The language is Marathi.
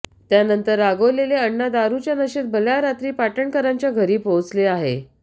त्यानंतर रागावलेले अण्णा दारूच्या नशेत भल्या रात्री पाटणकरांच्या घरी पोहोचले आहे